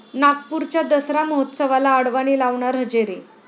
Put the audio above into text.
नागपूरच्या दसरा महोत्सवाला अडवाणी लावणार हजेरी